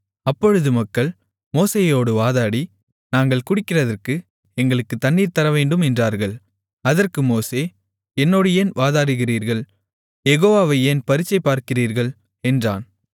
அப்பொழுது மக்கள் மோசேயோடு வாதாடி நாங்கள் குடிக்கிறதற்கு எங்களுக்குத் தண்ணீர் தரவேண்டும் என்றார்கள் அதற்கு மோசே என்னோடு ஏன் வாதாடுகிறீர்கள் யெகோவாவை ஏன் பரீட்சை பார்க்கிறீர்கள் என்றான்